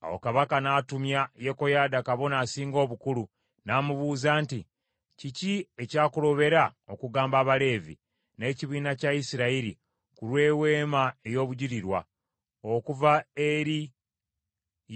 Awo kabaka n’atumya Yekoyaada kabona asinga obukulu, n’amubuuza nti, “Kiki ekyakulobera okugamba Abaleevi, n’ekibiina kya Isirayiri ku lw’eweema ey’Obujulirwa, okuva eri